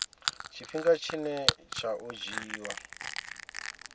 tshifhinga tshine tsha o dzhiiwa